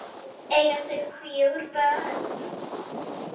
Eiga þau fjögur börn.